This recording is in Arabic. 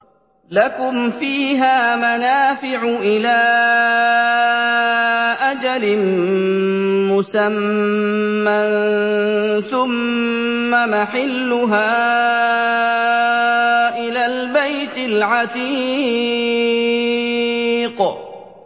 لَكُمْ فِيهَا مَنَافِعُ إِلَىٰ أَجَلٍ مُّسَمًّى ثُمَّ مَحِلُّهَا إِلَى الْبَيْتِ الْعَتِيقِ